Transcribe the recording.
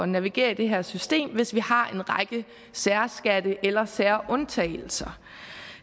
navigere i det her system hvis vi har en række særskatte eller særundtagelser